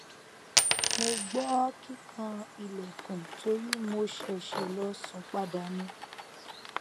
mo o gbọ kikan ilẹkun tori mo ṣèṣè lọ sun pada ni